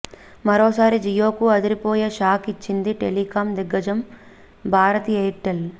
మరోసారి జియో కు అదిరిపోయే షాక్ ఇచ్చింది టెలికాం దిగ్గజం భారతి ఎయిర్ టెల్